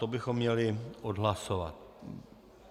To bychom měli odhlasovat.